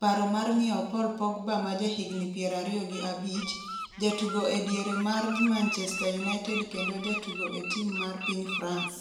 paro mar nyiewo Paul Pogba ma ja higni 25, jatugo e diere mar Manchester United kendo jatugo e tim mar piny France.